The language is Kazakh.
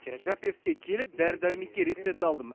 терапевтке келіп дәрі дәрмекке рецепт алдым